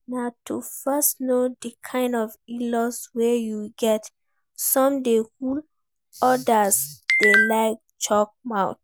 Na to first know di kind inlaws wey you get, some dey cool, odas dey like chook mouth